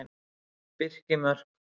Birkimörk